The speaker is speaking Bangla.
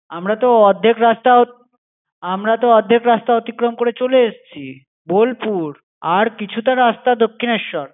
আমরাতো অর্ধেক রাস্তা, আমরাতো অর্ধেক রাস্তা অতিক্রম করে চলে এসছি। বোলপুর। আর কিছুটা রাস্তা দক্ষিণেশ্বর।